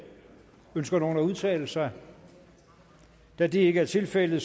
ønsker nogen at udtale sig da det ikke er tilfældet